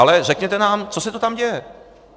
Ale řekněte nám, co se to tam děje.